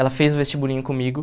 Ela fez o vestibulinho comigo.